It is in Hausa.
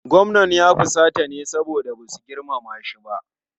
Gwamnan ya fusata ne saboda ba su girmama shi ba.